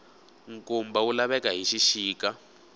nkumba wu laveka hi xixika